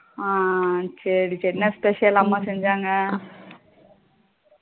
ஹம் சரி சரி என்ன special அம்மா செஞ்சாங்க